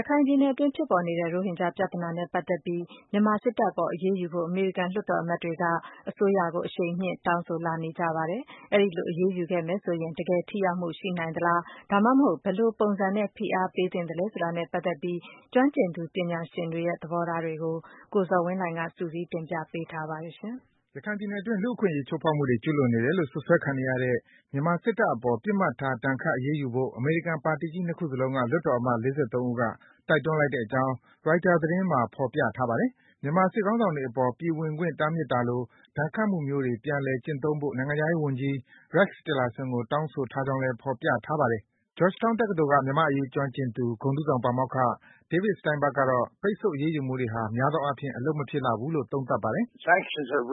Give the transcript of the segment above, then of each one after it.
ရခိုင်ပြည်နယ်အတွင်း ဖြစ်ပေါ်နေတဲ့ ရိုဟင်ဂျာပြဿနာနဲ့ ပတ်သက်ပြီး မြန်မာစစ်တပ်အပေါ် အရေးယူဖို့ အမေရိကန် လွှတ်တော် အမတ်တွေက အစိုးရကို အရှိန်မြင့် တောင်းဆိုလာနေကြပါတယ်။ အဲဒီလို အရေးယူခဲ့မယ်ဆိုရင် တကယ် ထိရောက်မှု ရှိနိုင်သလား၊ ဒါမှမဟုတ် ဘယ်လိုပုံစံနဲ့ ဖိအားပေးသင့်သလဲ ဆိုတာနဲ့ ပတ်သက်ပြီး ကျွမ်းကျင်သူ ပညာရှင်တွေရဲ့ သဘောထားတွေကို ကိုဇော်ဝင်းလှိုင်က စုစည်း တင်ပြပေးထားပါတယ်။ ရခိုင်ပြည်နယ်အတွင်း လူ့အခွင့်အရေး ချိုးဖောက်မှုတွေ ကျုးလွန်နေတယ်လို့ စွပ်စွဲခံနေရတဲ့ မြန်မာစစ်တပ်အပေါ် ပစ်မှတ်ထား ဒဏ်ခတ်အရေးယူဖို့ အမေရိကန် ပါတီကြီး ၂ ခုစလုံးက လွှတ်တော်အမတ် ၄၃ ဦးက တိုက်တွန်းလိုက်ကြောင်း Reuter သတင်းမှာ ဖော်ပြထားပါတယ်။ မြန်မာစစ်ခေါင်းဆောင်တွေအပေါ် ပြည်ဝင်ခွင့် တားမြစ်တာလို ဒဏ်ခတ်မှုမျိုးတွေ ပြန်လည်ကျင့်သုံးဖို့ နိုင်ငံခြားရေး ဝန်ကြီး Rex Tillerson ကို တောင်းဆိုထားကြောင်းလည်း ဖော်ပြထားပါတယ်။ Georgetown တက္ကသိုလ်က မြန်မာ့အရေး ကျွမ်းကျင်သူ ဂုဏ်ထူးဆောင် ပါမောက္ခ David Steinburg ကတော့ ပိတ်ဆို့ အရေးယူမှုတွေဟာ များသောအားဖြင့် အလုပ်မဖြစ်လှဘူးလို့ သုံးသပ်ပါတယ်။ “ပိတ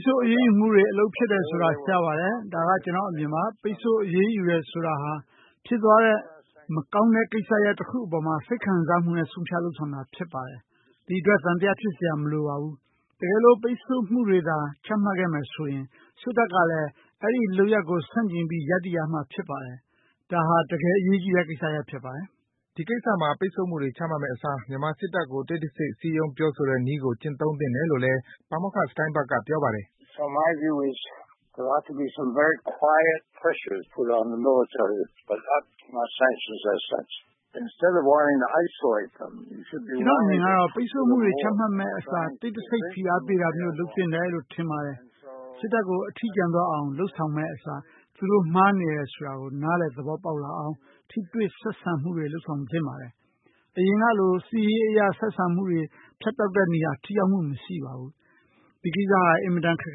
်ဆို့အရေးယူမှုတွေ အလုပ်ဖြစ်တယ်ဆိုတာ ရှားပါတယ်။ ဒါက ကျနော့်အမြင်ပါ။ ပိတ်ဆို့ အရေးယူတယ်ဆိုတာဟာ ဖြစ်သွားခဲ့တဲ့ မကောင်းတဲ့ကိစ္စရပ် တခုအပေါ်မှာ စိတ်ခံစားမှုနဲ့ ဆုံးဖြတ် လုပ်ဆောင်တာ ဖြစ်ပါတယ်။ အဲဒီအတွက် သံသယ ဖြစ်စရာ မလိုပါဘူး။ တကယ်လို့ ပိတ်ဆို့မှုတွေသာ ချမှတ်ခဲ့မယ်ဆိုရင် စစ်တပ်ကလည်း အဲဒီ လုပ်ရပ်ကို ဆန့်ကျင်ပြီး ရပ်တည်ရမှာ ဖြစ်ပါတယ်။ ဒါဟာ တကယ် ဒီကိစ္စမှာ ပိတ်ဆို့မှုတွေ ချမှတ်မယ့်အစား မြန်မာစစ်တပ်ကို တိတ်တဆိတ် စည်းရုံး ပြောဆိုတဲ့နည်းကို ကျင့်သုံးသင့်တယ်လို့လဲ ပါမောက္ခ Steinburg က ပြောပါတယ်။ “ကျနော့်အမြင်ကတော့ ပိတ်ဆို့မှုတွေ ချမှတ်မယ့်အစား တိတ်တဆိတ် ဖိအားပေးတာမျိုး လုပ်သင့်တယ်လို့ ထင်ပါတယ်။ စစ်တပ်ကို အထီးကျန်သွားအောင် လုပ်ဆောင်မယ့်အစား သူတို့မှားနေပါတယ်ဆိုတာကို နားလည် သဘောပေါက်လာအောင် ထိတွေ့ ဆက်ဆံမှုတွေ လုပ်ဆောင်သင့်ပါတယ်။ အရင်ကလို စစ်ရေးအရ ဆက်ဆံမှုတွေ ဖြတ်တောက်တဲ့နည်းက ထိရောက်မှု မရှိပါဘူး။ ဒီကိစ္စဟာ အင်မတန် ခက်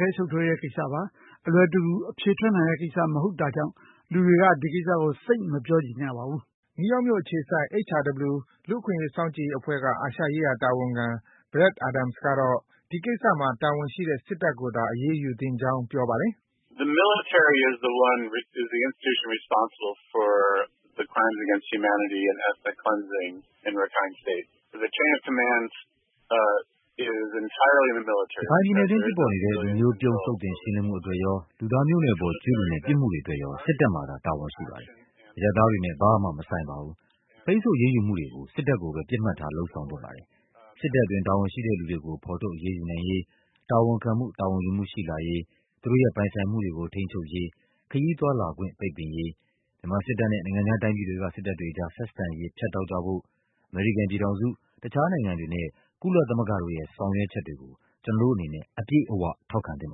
ခဲ ရှုပ်ထွေးနဲ့ကိစ္စပါ။ အလွယ်တကူ အဖြေထွက်နိုင်တဲ့ကိစ္စ မဟုတ်တာကြောင့် လူတွေက ဒီကိစ္စကို သိပ် မပြောချင်ကြပါဘူး။” နယူးယောက်မြို့အခြေစိုက် HRW လူ့အခွင့်အရေး စောင့်ကြည့်ရေးအဖွဲ့က အာရှရေးရာ တာဝန်ခံ Brad Adams ကတော့ ဒီကိစ္စမှာ တာဝန်ရှိတဲ့ စစ်တပ်ကိုသာ အရေးယူသင့်ကြောင်း ပြောပါတယ်။ “ရခိုင်ပြည်နယ်အတွင်း ဖြစ်ပေါ်နေတဲ့ လူမျိုးပြုန်း သုတ်သင် ရှင်းလင်းမှုအတွက်ရော၊ လူသားမျိုးနွယ်အပေါ် ကျူးလွန်တဲ့ ပြစ်မှုတွေအတွက်ရော စစ်တပ်မှာသာ တာဝန်ရှိပါတယ်။ အရပ်သားတွေနဲ့ ဘာမှ မဆိုင်ပါဘူး။ ပိတ်ဆို့အရေးယူမှုတွေကို စစ်တပ်ကိုသာ ပစ်မှတ်ထား လုပ်ဆောင် သင့်ပါတယ်။ စစ်တပ်အတွင်း တာဝန်ရှိတဲ့သူတွေကို ဖော်ထုတ် အရေးယူနိုင်ရေး၊ တာဝန်ခံမှု တာဝန်ယူမှု ရှိလာရေး၊ သူတို့ရဲ့ ပိုင်ဆိုင် မှုတွေကို ထိန်းချုပ်ရေး၊ ခရီးသွားလာခွင့် ပိတ်ပင်ရေး၊ မြန်မာစစ်တပ်နဲ့ နိုင်ငံခြားတိုင်းပြည်တွေက စစ်တပ်တွေအကြား ဆက်ဆံရေး ဖြတ်တောက်ကြဖို့ အမေရိကန်ပြည်ထောင်စု၊ တခြား နိုင်ငံတွေနဲ့ ကုလသမဂ္ဂတို့ရဲ့ ဆောင်ရွက်မှုတွေကို ကျနော်တို့အနေနဲ့ အပြည့်အ၀ ထောက်ခံသင့်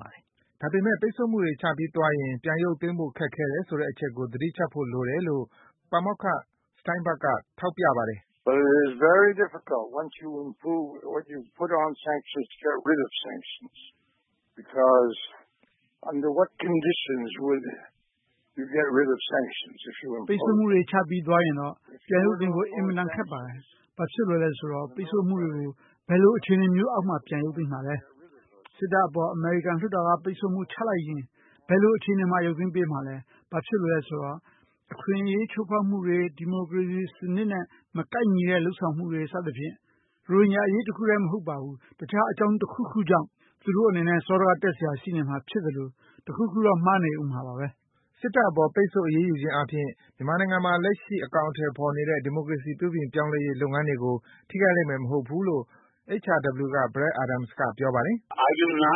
ပါတယ်။” ဒါပေမယ့် ပိတ်ဆို့မှုတွေ ချပြီးသွားရင် ပြန်ရုပ်သိမ်းဖို့ ခက်ခဲတယ်ဆိုတဲ့ အချက်ကို သတိချပ်ဖို့လိုတယ်လို့ ပါမောက္ခ Steinburg က ထောက်ပြပါတယ်။ “ပိတ်ဆို့မှုတွေ ချပြီးသွားရင်တော့ ပြန်ရုပ်သိမ်းဖို့ အင်မတန် ခက်ပါတယ်။ ဘာဖြစ်လို့လည်းဆိုတော့ ပိတ်ဆို့မှုတွေကို ဘယ်လို အခြေအနေမျိုးအောက်မှာ ပြန်ရုပ်သိမ်းမှာလည်း။ စစ်တပ်အပေါ် အမေရိကန်လွှတ်တော်က ပိတ်ဆို့မှု ချမှတ်လိုက်ရင် ဘယ်အခြေအနေမျိုးမှာ ရုပ်သိမ်းပေးမှာလဲ။ ဘာဖြစ်လို့လဲဆိုတော့ အခွင့်အရေး ချိုးဖောက်မှုတွေ၊ ဒီမိုကရေစီ စံနစ်နဲ့ မကိုက်ညီတဲ့ လုပ်ဆောင်မှုတွေ စသဖြင့် ရိုဟင်ဂျာ အရေးတခုထဲမဟုတ်ဘဲ တခြား အကြောင်းတခုခုအတွက် သူတို့အနေနဲ့ စောဒကတက်စရာ ရှိနေမှာဖြစ်သလို၊ တခုခုတော့ မှားနေဦးမှာပါဘဲ။” စစ်တပ်အပေါ် ပိတ်ဆို့ အရေးယူခြင်းအားဖြင့် မြန်မာနိုင်ငံမှာ လက်ရှိ အကောင်အထည်ဖော်နေတဲ့ ဒီမိုကရေစီ ပြုပြင် ပြောင်းလဲရေး လုပ်ငန်းတွေကို ထိခိုက်လိမ့်မယ်မဟုတ်ကြောင်း HRW က Brad Adams က ပြောပါတယ်။ “မြန်မာ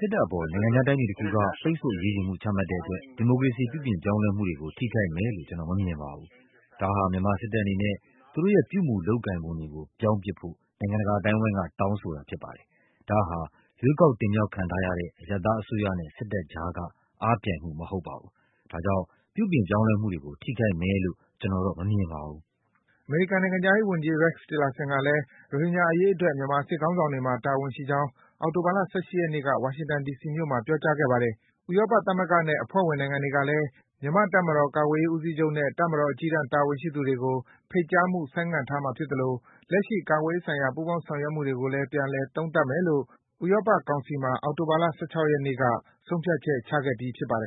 စစ်တပ်အပေါ် နိုင်ငံခြားတိုင်းပြည်တခုက ပိတ်ဆို့ အရေးယူမှု ချမှတ်တဲ့အတွက် ဒီမိုကရေစီ ပြုပြင်ပြောင်းလဲမှုတွေကို ထိခိုက်မယ်လို့ ကျနော် မမြင်ပါဘူး။ ဒါဟာ မြန်မာစစ်တပ်အနေနဲ့ သူတို့ရဲ့ ပြုမူ၊ လုပ်ကိုင်ပုံတွေကို ပြောင်းပစ်ဖို့ နိုင်ငံတကာ အသိုင်းဝိုင်းက တောင်းဆိုတာ ဖြစ်ပါတယ်။ ဒါဟာ ရွေးကောက် တင်မြောက်ခံထားရတဲ့ အရပ်သားအစိုးရနဲ့ စစ်တပ်အကြားက အားပြိုင်မှု မဟုတ်ပါဘူး။ ဒါကြောင့် ပြုပြင် ပြောင်းလဲမှုတွေကို ထိခိုက်မယ်လို့ ကျနော်မမြင်ပါဘူး။” အမေရိကန်နိုင်ငံခြားရေးဝန်ကြီး Rex Tillerson ကလည်း ရိုဟင်ဂျာ အရေးအတွက် မြန်မာစစ်ခေါင်းဆောင်တွေမှာ တာဝန်ရှိကြောင်း အောက်တိုဘာလ ၁၈ ရက်နေ့က ဝါရှင်တန် ဒီစီမြို့မှာ ပြောကြားခဲ့ပါတယ်။ ဥရောပသမဂ္ဂနဲ့ အဖွဲ့ဝင် နိုင်ငံတွေကလည်း မြန်မာ့ တပ်မတော် ကာကွယ်ရေး ဦးစီးချုပ်နဲ့ တပ်မတော် အကြီးတန်း တာဝန်ရှိသူတွေကို ဖိတ်ကြားမှု ဆိုင်းငံ့ထားမှာ ဖြစ်သလို လက်ရှိ ကာကွယ်ရေးဆိုင်ရာ ပူးပေါင်း ဆောင်ရွက်မှုတွေကိုလည်း ပြန်လည် သုံးသပ်မယ်လို့ ဥရောပ ကောင်စီမှာ အောက်တိုဘာလ ၁၆ ရက်နေ့က ဆုံးဖြတ်ချက် ချခဲ့ပြီး ဖြစ်ပါတယ်